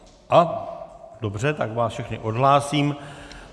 Dobře, tak vás všechny odhlásím.